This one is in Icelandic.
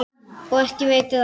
Og ekki veitir af.